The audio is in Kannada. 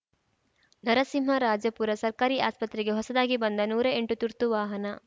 ನರಸಿಂಹರಾಜಪುರ ಸರ್ಕಾರಿ ಆಸ್ಪತ್ರೆಗೆ ಹೊಸದಾಗಿ ಬಂದ ನೂರಾ ಎಂಟು ತುರ್ತು ವಾಹನ